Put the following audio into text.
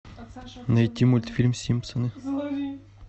найти мультфильм симпсоны